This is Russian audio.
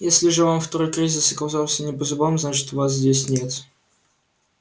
если же вам второй кризис оказался не по зубам значит вас здесь нет